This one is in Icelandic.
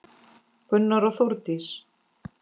Gunnar og Þórdís.